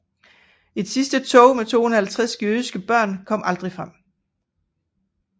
Et sidste tog med 250 jødiske børn kom aldrig frem